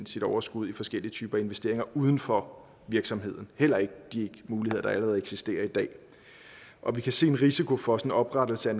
sit overskud i forskellige typer investeringer uden for virksomheden heller ikke de muligheder der allerede eksisterer i dag og vi kan se en risiko for oprettelse af